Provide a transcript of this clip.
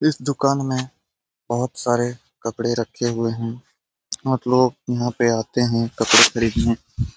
इस दुकान में बहोत सारे कपड़े रखे हुए हैं और लोग यहाँ पे आते हैं कपड़े खरीदने।